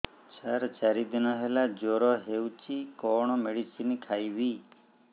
ସାର ଚାରି ଦିନ ହେଲା ଜ୍ଵର ହେଇଚି କଣ ମେଡିସିନ ଖାଇବି